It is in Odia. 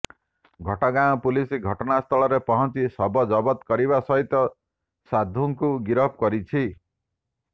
ଘଟଗାଁ ପୁଲିସ୍ ଘଟଣାସ୍ଥଳରେ ପହଞ୍ଚି ଶବ ଜବତ କରିବା ସହିତ ସାଧୁଙ୍କୁ ଗିରଫ କରିଛି